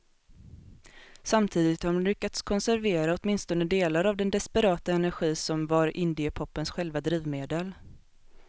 Samtidigt har de lyckats konservera åtminstone delar av den desperata energi som var indiepopens själva drivmedel.